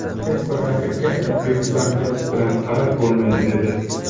Hech bir raqibga bepisandlik bilan qarab bo‘lmaydi”, dedi .